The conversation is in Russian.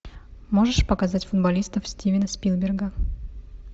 можешь показать футболистов стивена спилберга